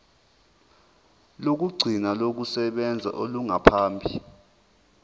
lokugcina lokusebenza olungaphambi